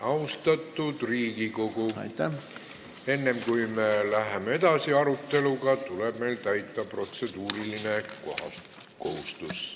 Austatud Riigikogu, enne kui me aruteluga edasi läheme, tuleb meil täita protseduuriline kohustus.